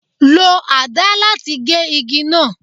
Lo àdá láti gé igi náà.